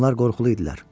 Onlar qorxulu idilər.